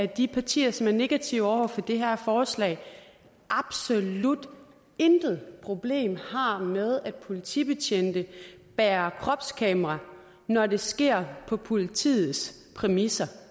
de partier som er negative over for det her forslag absolut intet problem har med at politibetjente bærer kropskamera når det sker på politiets præmisser